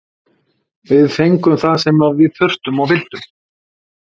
Við fengum það sem við þurftum og vildum.